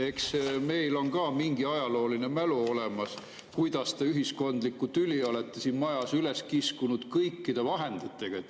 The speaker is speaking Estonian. Eks meil on ka mingi ajalooline mälu olemas, kuidas te seda ühiskondlikku tüli olete siin majas üles kiskunud kõikide vahenditega.